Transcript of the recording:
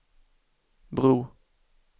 bro